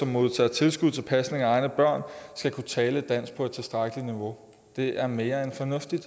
modtager tilskud til pasning af egne børn skal kunne tale dansk på et tilstrækkelig højt niveau det er mere end fornuftigt